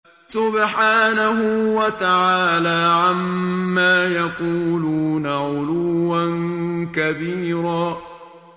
سُبْحَانَهُ وَتَعَالَىٰ عَمَّا يَقُولُونَ عُلُوًّا كَبِيرًا